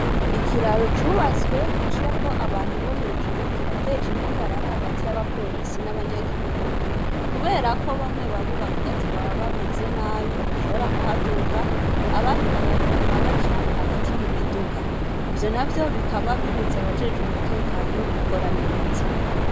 Ikiraro cubatswe giciyeko abantu bo hejuru kirateje impagarara hagati y'aba polisi n'abanyagihugu kuberako bamwe bamwe bavuga ati baba bameze nabi, ntibashobora kuhaduga, abandi bakaguma baca hagati mu miduga. Ivyo navyo bikaba bibuza abajejwe umutekano gukora neza.